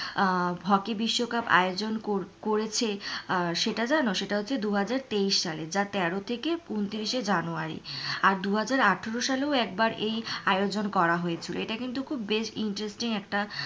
আহ hockey বিশ্বকাপ আয়োজন করেছে সেটা জানো সেটা হচ্ছে দুহাজার তেইশ সালে যা তেরো থেকে ঊনত্রিশ জানুয়ারি আর দুহাজার আঠেরো সালেও একবার এই আয়োজন করা হয়েছিল এটা কিন্তু বেশ interesting একটা,